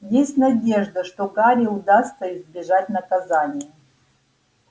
есть надежда что гарри удастся избежать наказания